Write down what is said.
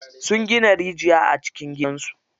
Sun gina rijiya a cikin gidan su.